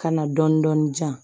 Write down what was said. Ka na dɔɔnin-dɔɔnin di yan